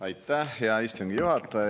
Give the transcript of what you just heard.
Aitäh, hea istungi juhataja!